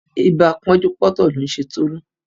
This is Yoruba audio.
Ibà pọ́njú-pọ́ntọ̀ ló ń ṣe Tolú